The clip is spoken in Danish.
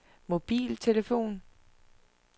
mobiltelefon